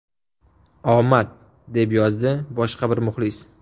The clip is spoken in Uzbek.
Omad”, deb yozdi boshqa bir muxlis.